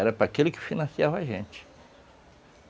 Era para aquele que financiava a gente.